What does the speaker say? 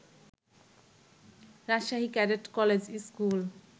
Rajshahi cadet college school